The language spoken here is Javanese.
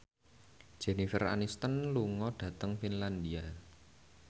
Jennifer Aniston lunga dhateng Finlandia